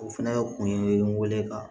O fɛnɛ kun ye n wele ka